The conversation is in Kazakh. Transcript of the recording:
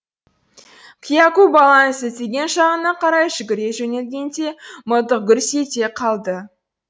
кияку баланың сілтеген жағына қарай жүгіре жөнелгенде мылтық гүрс ете қалды